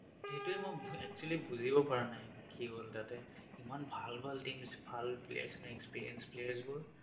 সেইটোৱে মই actually বুজিব পাৰা নাই, কি হ'ল তাতে। ইমান ভাল ভাল teams ভাল players, experienced players বোৰ